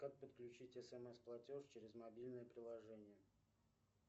как подключить смс платеж через мобильное приложение